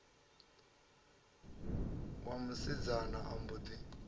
wa musidzana a mbo ḓi